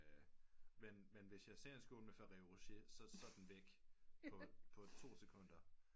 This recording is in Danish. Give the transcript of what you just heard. Men men hvis jeg selv skål med ferrero rocher så er den væk på to sekunder